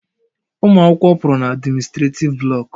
Students, move away from the administrative block